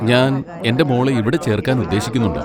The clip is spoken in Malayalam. ഞാൻ എൻ്റെ മോളെ ഇവിടെ ചേർക്കാൻ ഉദ്ദേശിക്കുന്നുണ്ട്.